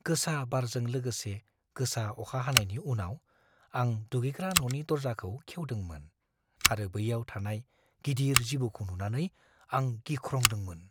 गोसा बारजों लोगोसे गोसा अखा हानायनि उनाव, आं दुगैग्रा न'नि दर्जाखौ खेवदोंमोन आरो बैयाव थानाय गिदिर जिबौखौ नुनानै आं गिख्रंदोंमोन।